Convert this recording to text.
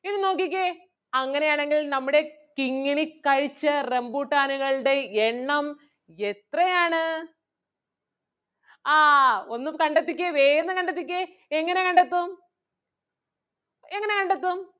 അങ്ങനെ ആണെങ്കിൽ നമ്മുടെ കിങ്ങിണി കഴിച്ച റംബുട്ടാനുകളുടെ എണ്ണം എത്രയാണ്? ആഹ് ഒന്ന് കണ്ടെത്തിക്കേ വേഗന്ന് കണ്ടെത്തിക്കേ എങ്ങനെ കണ്ടെത്തും എങ്ങനെ കണ്ടെത്തും?